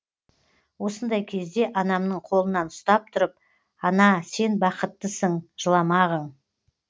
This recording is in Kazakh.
осындай кезде анамның қолынан ұстап тұрып ана сен бақыттысың жыламағың